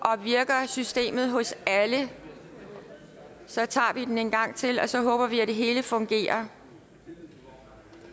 virker systemet hos alle så tager vi den en gang til og så håber vi at det hele fungerer